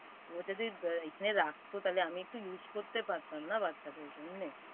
ও যদি~ব এইখানে রাখত তাইলে আমি একটু use করতে পারতাম না বাচ্চাদের জন্যে।